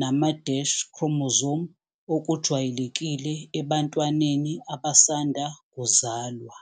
nama-chromosome okujwayelekile ebantwaneni abasanda kuzalwa.